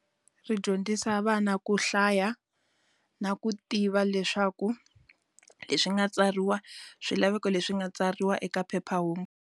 Ri dyondzisa vana ku hlaya, na ku tiva leswaku leswi nga tsariwa swilaveko leswi nga tsariwa eka phephahungu.